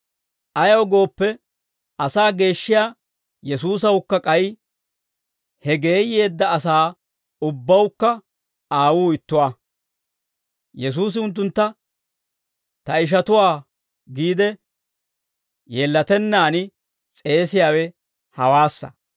Ayaw gooppe, asaa geeshshiyaa Yesuusawukka k'ay he geeyyeedda asaa ubbawukka Aawuu ittuwaa. Yesuusi unttuntta, «Ta ishatuwaa» giide yeellatennaan s'eesiyaawe hawaassa.